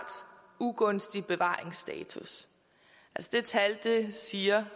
ugunstig bevaringsstatus det tal siger